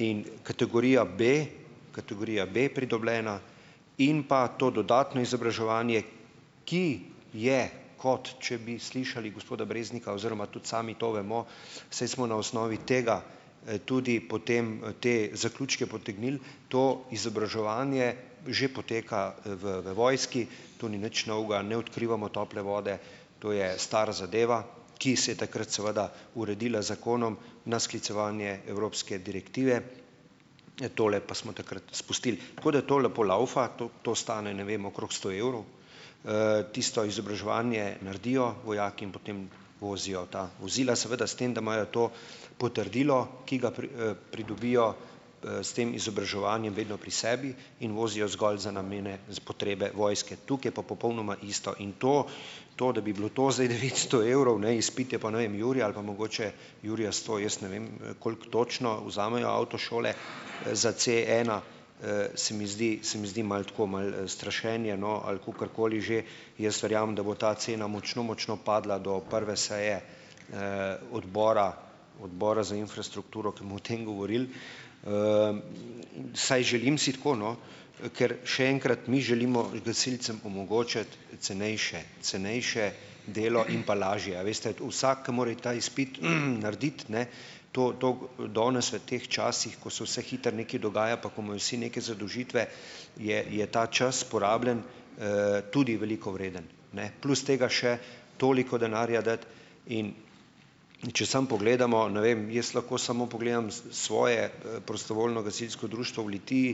in kategorija B, kategorija B, pridobljena in pa to dodatno izobraževanje, ki je, kot če bi slišali gospoda Breznika, oziroma tudi sami to vemo, saj smo na osnovi tega, tudi potem te zaključke potegnili. To izobraževanje že poteka, v v vojski, to ni nič novega, ne odkrivamo tople vode, to je stara zadeva, ki se je takrat seveda uredila z zakonom na sklicevanje evropske direktive. Tole pa smo takrat izpustili. Tako, da to lepo lavfa, to to stane, ne vem, okrog sto evrov. Tisto izobraževanje naredijo vojaki in potem vozijo ta vozila, seveda s tem, da imajo to potrdilo, ki ga pridobijo, s tem izobraževanjem vedno pri sebi in vozijo zgolj za namene za potrebe vojske. Tukaj je pa popolnoma isto in to, to, da bi bilo to zdaj devetsto evrov, ne, izpit je pa, ne vem, jurja ali pa mogoče jurja sto, jaz ne vem, koliko točno vzamejo avtošole za Cena, se mi zdi, se mi zdi malo tako malo strašenje, no, ali kakorkoli že, jaz verjamem, da bo ta cena močno, močno padla, do prve seje, odbora odbora za infrastrukturo, ke bomo o tem govorili, Vsaj želim si tako, no, ker, še enkrat, mi želimo gasilcem omogočiti cenejše, cenejše delo in pa lažje, a veste, vsak, ki mora iti ta izpit, narediti, ne? To, to danes v teh časih, ko se vse hitro nekaj dogaja, pa ko imajo vsi neke zadolžitve, je je ta čas, porabljen, tudi veliko vreden, ne? Plus tega še toliko denarja dati, in če samo pogledamo, ne vem, jaz lahko samo pogledam svoje, prostovoljno gasilsko društvo v Litiji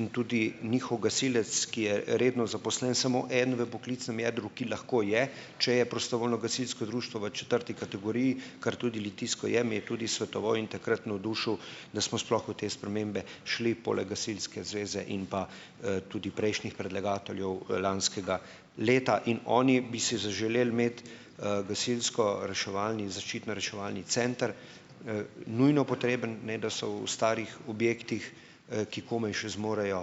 in tudi njihov gasilec, ki je redno zaposlen, samo en v poklicnem jedru, ki lahko je, če je prostovoljno gasilsko društvo v četrti kategoriji, kar tudi litijsko je - mi je tudi svetoval in takrat navdušil, da smo sploh v te spremembe šli, poleg Gasilske zveze in pa, tudi prejšnjih predlagateljev lanskega leta. In oni bi si zaželeli imeti, gasilskoreševalni, in zaščitno-reševalni center. Nujno potreben, ne, da so v starih objektih, ki komaj še zmorejo,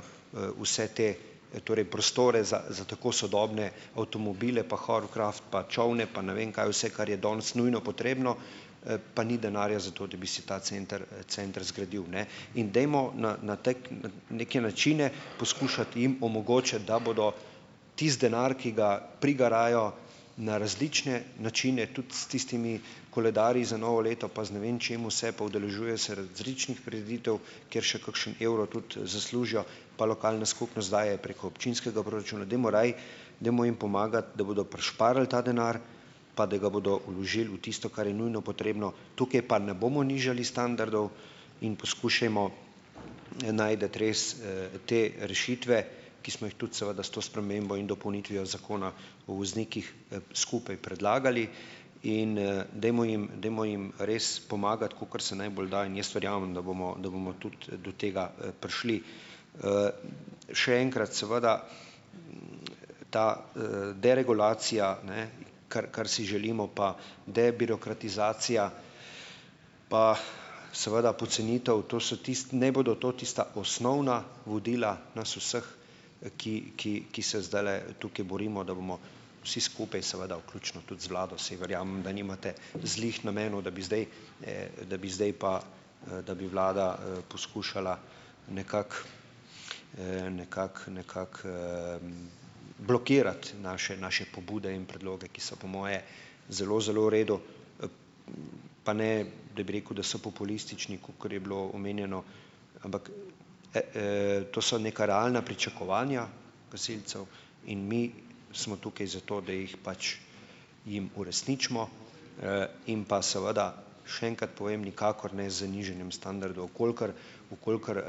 vse te, torej prostore, za za tako sodobne avtomobile, pa hoverkraft, pa čolne, pa ne vem kaj vse, kar je danes nujno potrebno, pa ni denarja za to, da bi se ta center center zgradil, ne? In dajmo na na tej na neke načine poskušati jim omogočati, da bodo tisti denar, ki ga prigarajo na različne načine, tudi s tistimi koledarji za novo leto, pa z ne vem čem vse, pa udeležujejo se različnih prireditev, kjer še kakšen evro tudi zaslužijo, pa lokalna skupnost daje preko občinskega proračuna ... Dajmo raje, dajmo jim pomagati, da bodo prišparali ta denar, pa da ga bodo vložili v tisto, kar je nujno potrebno. Tukaj pa ne bomo nižali standardov in poskušajmo najti res, te rešitve, ki smo jih tudi, seveda s to spremembo in dopolnitvijo Zakona o voznikih, skupaj predlagali in, dajmo jim, dajmo jim res pomagati, kakor se najbolj da in jaz verjamem, da bomo, da bomo tudi do tega, prišli. Še enkrat, seveda, ta, deregulacija, ne, kar, kar si želimo, pa debirokratizacija, pa seveda pocenitev - to so ne bodo to tista osnovna vodila nas vseh, ki ki ki se zdajle tukaj borimo, da bomo vsi skupaj, seveda vključno tudi z vlado, saj verjamem, da nimate zlih namenov, da bi zdaj, da bi zdaj pa, da bi vlada, poskušala nekako, nekako nekako, blokirati naše naše pobude in predloge, ki so po moje zelo, zelo v redu. Pa ne, da bi rekel, da so populistični, kakor je bilo omenjeno, ampak, to so neka realna pričakovanja gasilcev in mi smo tukaj zato, da jih pač, jim uresničimo, in pa seveda, še enkrat povem, nikakor ne z nižanjem standardov. Kolikor, v kolikor,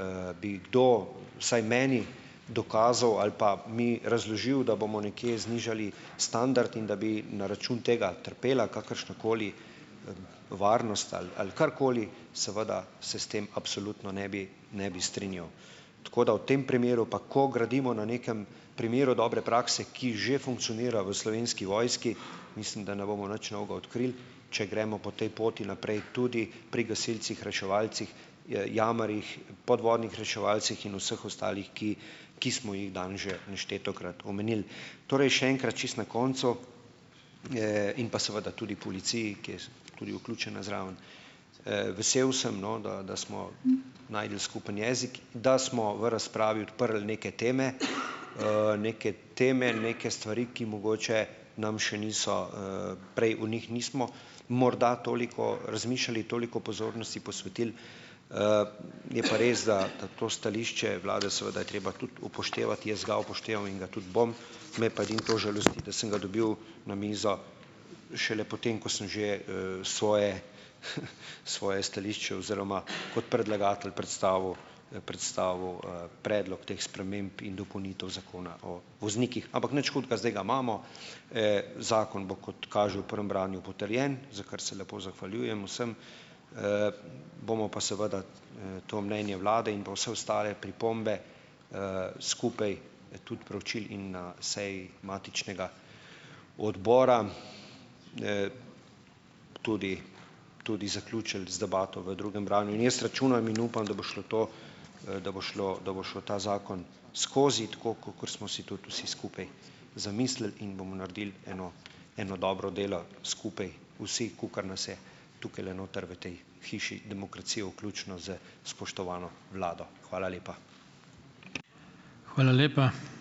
bi kdo, vsaj meni, dokazal ali pa mi razložil, da bomo nekje znižali standard in da bi na račun tega trpela kakršnakoli varnost ali ali karkoli, seveda, se s tem absolutno ne bi ne bi strinjal. Tako da, v tem primeru pa, ko gradimo na nekem primeru dobre prakse, ki že funkcionira v Slovenski vojski, mislim, da ne bomo nič novega odkrili, če gremo po tej poti naprej, tudi pri gasilcih, reševalcih, jamarjih, podvodnih reševalcih in vseh ostalih, ki ki smo jih danes že neštetokrat omenili. Torej še enkrat, čisto na koncu, in pa seveda tudi policiji, ki je tudi vključena zraven, vesel sem, no, da da smo našli skupen jezik, da smo v razpravi odprli neke teme, neke teme neke stvari, ki mogoče nam še niso, prej o njih nismo morda toliko razmišljali, toliko pozornosti posvetili, je pa res, da to stališče vlade, seveda je treba tudi upoštevati. Jaz ga upoštevam in ga tudi bom, me pa edino to žalosti, da sem ga dobil na mizo šele potem, ko sem že, svoje svoje stališče oziroma kot predlagatelj predstavil, predstavil, predlog teh sprememb in dopolnitev Zakona o voznikih. Ampak nič hudega, zdaj ga imamo. Zakon bo - kot kaže - v prvem branju potrjen, za kar se lepo zahvaljujem vsem, bomo pa seveda, to mnenje vlade in pa vse ostale pripombe, skupaj tudi proučili in na seji matičnega odbora, tudi tudi zaključili z debato v drugem branju. In jaz računam in upam, da bo šlo to, da bo šlo, da bo šel ta zakon skozi, tako kakor smo si tudi vsi skupaj zamislili in bomo naredili eno eno dobro delo skupaj vsi, kolikor nas je tukajle noter v tej hiši demokracije, vključno s spoštovano vlado. Hvala lepa.